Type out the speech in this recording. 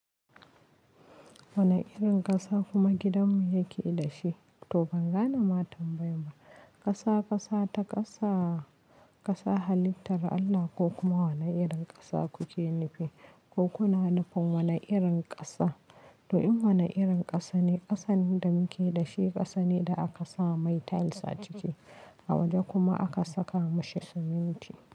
Wani irin ƙasa kuma gidanmu yake da shi? To ban gane ma tambayar ba Ƙasa, ƙasa ta ƙasa, ƙasa halittar Allah ko kuma wane irin ƙasa kuke nufi? Ko kuna nufin wane irin ƙasa? To in wane irin ƙasa ne, ƙasan da muke da shi ƙasa ne da aka sa mai tiles a ciki a waje kuma aka saka mashi siminti.